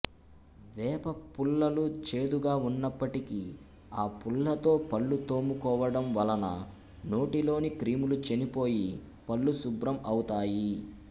వేప పుల్లలు చేదుగా ఉన్నప్పటికి ఆ పుల్లతో పళ్లు తోముకోవడం వలన నోటిలోని క్రిములు చనిపోయి పళ్లు శుభ్రం అవుతాయి